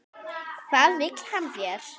Hvað vill hann þér?